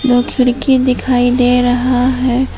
दो खिड़की दिखाई दे रहा है।